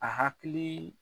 A hakilii